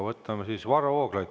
Võtame siis Varro Vooglaiu.